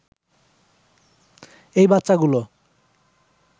এই বাচ্চাগুলো